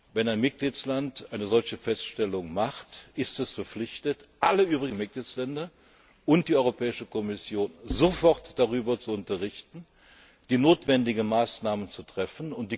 Wenn ein Mitgliedsland eine solche Feststellung macht, ist es verpflichtet, alle übrigen Mitgliedsländer und die Europäische Kommission sofort darüber zu unterrichten und die notwendigen Maßnahmen zu treffen.